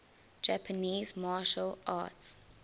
japanese martial arts